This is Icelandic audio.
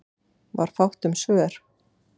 Var fátt um svör.